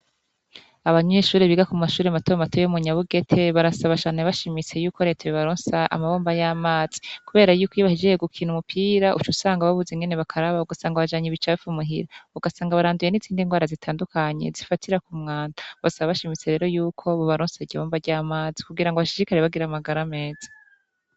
Abanyuyishuri biga ku mashuri matobe matu yo munyabugete barasa bashane bashimise yuko reto b ibaronsa amabomba y'amazi, kubera yuko iyibahijeye gukina umupira ucu usanga babuze ingene bakaraba gusanga abajanya ibicapfe umuhira ugasanga baranduye n'itsindi ngwara zitandukanye zifatira ku mwanda, basa bashimise rero yuko bubaronsi rya ibomba ry'amazi kugira ngo bashishikari bagiramagara ameza.